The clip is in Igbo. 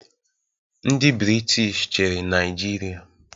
Ndị Brịtish chiri Naijịria